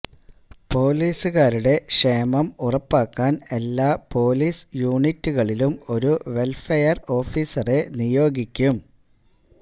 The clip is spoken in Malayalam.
പോലീസുകാരുടെ ക്ഷേമം ഉറപ്പാക്കാന് എല്ലാ പോലീസ് യൂണിറ്റുകളിലും ഒരു വെല്ഫെയര് ഓഫീസറെ നിയോഗിക്കും